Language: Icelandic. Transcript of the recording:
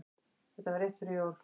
Þetta var rétt fyrir jól.